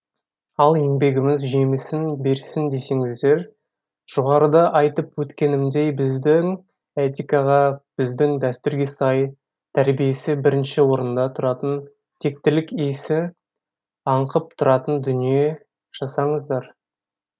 ал еңбегіміз жемісін берсін десеңіздер жоғарыда айтып өткенімдей біздің этикаға біздің дәстүрге сай тәрбиесі бірінші орында тұратын тектілік иісі аңқып тұратын дүние жасаңыздар